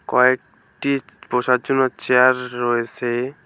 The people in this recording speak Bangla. কয়েকটি বসার জন্য চেয়ার রয়েছে।